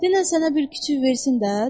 Denən sənə bir küçük versin də.